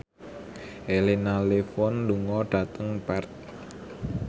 Elena Levon lunga dhateng Perth